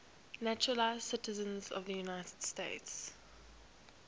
naturalized citizens of the united states